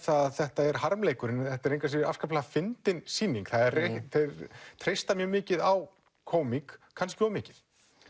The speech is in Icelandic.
þetta er harmleikurinn þetta er engu að síður afskaplega fyndin sýning þeir treysta mjög mikið á kómík kannski of mikið